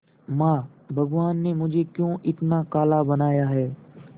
मां भगवान ने मुझे क्यों इतना काला बनाया है